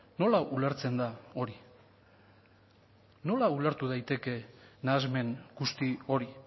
nola ulertzen da hori nola ulertu daiteke nahasmen guzti hori